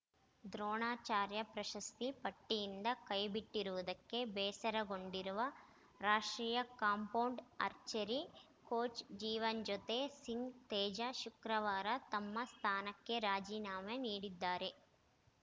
ದ್ರೋಣಾಚಾರ್ಯ ಪ್ರಶಸ್ತಿ ಪಟ್ಟಿಯಿಂದ ಕೈಬಿಟ್ಟಿರುವುದಕ್ಕೆ ಬೇಸರಗೊಂಡಿರುವ ರಾಷ್ಟ್ರೀಯ compound archery coach Jiwanjot Singh Teja ಶುಕ್ರವಾರ ತಮ್ಮ ಸ್ಥಾನಕ್ಕೆ ರಾಜೀನಾಮೆ ನೀಡಿದ್ದಾರೆ